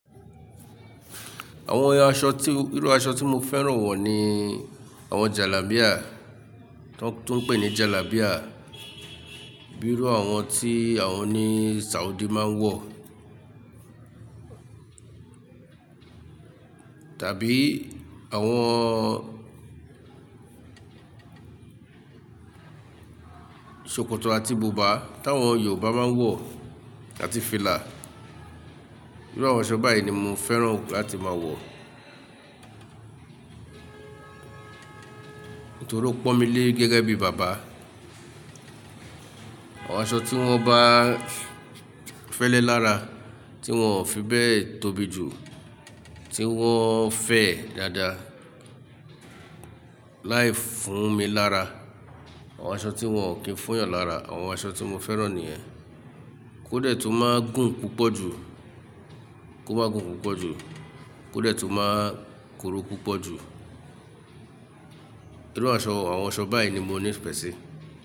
Àwọn aṣọ tí, irú aṣọ tí mo fẹ́ràn wọ̀ ni àwọn jalábíà, tó ń pè ní jalábíà, bíi irú àwọn tí àwọn ni Saudi máa ń wọ̀. Tàbí àwọn ṣòkòtò àti bùbá tí àwọn Yorùbá máa ń wọ̀ àti fìlà. Irú àwọn aṣọ báyìí ni mo fẹ́ràn láti máa wọ̀ nítorí ó pọ́n mi lé gẹ́gẹ́ bí bàbá. Àwọn aṣọ tí wọ́n bá fẹ́lẹ́ lára, tí wọ́n ò fi bẹ tóbi jù, tí wọ́n fẹ̀ dáadáa, láì fún mi lára. Àwọn aṣọ tí wọ́n ò kí ń fún yàn lára, àwọn aṣọ tí mo fẹ́ràn nìyẹn. Kóde tu máa gùn púpọ̀ jù, kó má gun púpọ̀ jù, kóde tu máa kuru púpọ̀ jù, irú àṣọ, àwọn aṣọ báyìí ni mo ní ife si.